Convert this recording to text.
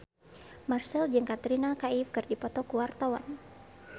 Marchell jeung Katrina Kaif keur dipoto ku wartawan